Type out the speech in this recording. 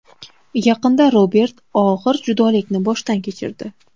Yaqinda Roberts og‘ir judolikni boshdan kechirdi.